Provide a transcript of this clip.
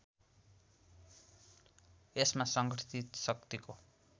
यसमा सङ्गठित शक्तिको